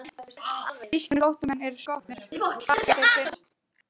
Þýskir flóttamenn eru skotnir, hvar sem þeir finnast.